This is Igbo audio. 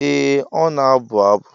Ee ọ na-abụ abụ.